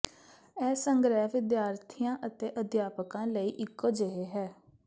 ਇਹ ਸੰਗ੍ਰਹਿ ਵਿਦਿਆਰਥੀਆਂ ਅਤੇ ਅਧਿਆਪਕਾਂ ਲਈ ਇੱਕੋ ਜਿਹੇ ਹੈ